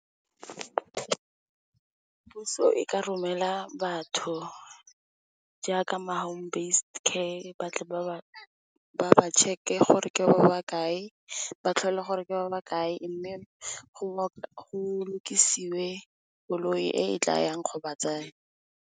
Puso e ka romela batho jaaka, ma Home based-care, ba tle ba ba tšheke gore ke ba ba kae, ba ba tlhole gore ke ba kae. Mme, go lokisiwe koloi e tla yang go ba tsaya.